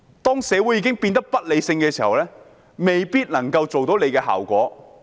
當社會已經變得不理性時，未必能夠達到預期的效果。